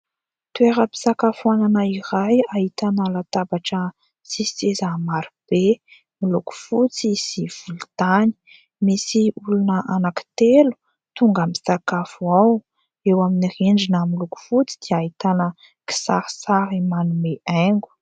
Toeram-pisakafoanana iray ahitana latabatra sy seza maro be miloko fotsy sy volontany. Misy olona anaky telo tonga misakafo ao. Eo amin'ny rindrina miloko fotsy dia ahitana kisarisary manome haingo.